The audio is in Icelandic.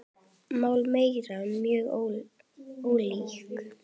Mál þeirra eru mjög ólík.